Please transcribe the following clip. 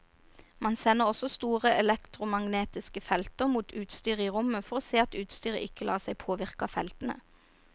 Man sender også store elektromagnetiske felter mot utstyret i rommet for å se at utstyret ikke lar seg påvirke av feltene.